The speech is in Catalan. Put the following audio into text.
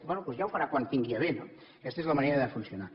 bé doncs ja ho farà quan ho tingui a bé no aquesta és la manera de funcionar